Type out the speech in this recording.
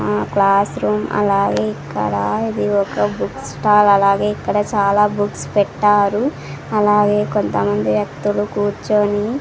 ఆ class room అలాగే ఇక్కడ ఇది ఒక బుక్ స్టాల్ అలాగే ఇక్కడ చాలా బుక్స్ పెట్టారు అలాగే కొంతమంది వ్యక్తులు కూర్చోని --